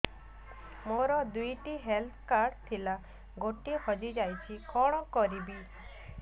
ମୋର ଦୁଇଟି health card ଥିଲା ଗୋଟିଏ ହଜି ଯାଇଛି କଣ କରିବି